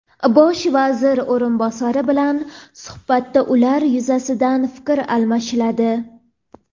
Bosh vazir o‘rinbosari bilan suhbatda ular yuzasidan fikr almashiladi.